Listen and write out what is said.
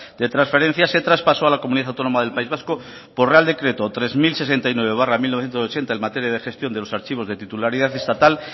de transferencias se traspasó a la comunidad autónoma del país vasco por real decreto tres mil sesenta y nueve barra mil novecientos ochenta en materia de gestión de los archivos de titularidad estatal